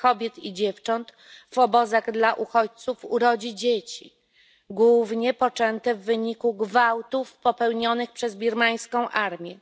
kobiet i dziewcząt w obozach dla uchodźców urodzi dzieci, głównie poczęte w wyniku gwałtów popełnionych przez birmańską armię.